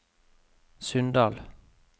Sunndal